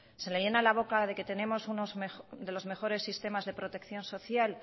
se le llena la boca de que tenemos uno de los mejores sistemas de protección social